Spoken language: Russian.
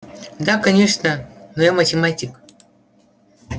да конечно но я математик